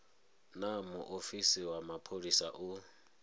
naa muofisi wa mapholisa u